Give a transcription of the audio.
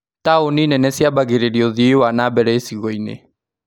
Taũni nene ciambagĩrĩria ũthii wa nambere icigo-inĩ